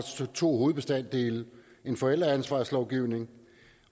to hovedbestanddele en forældreansvarslovgivning